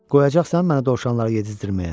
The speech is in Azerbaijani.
Qoyacaqsan məni dovşanlara yedizdirməyə?